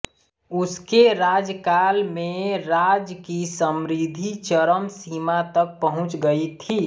उसके राज्यकाल में राज्य की समृद्धि चरम सीमा तक पहुँच गई थी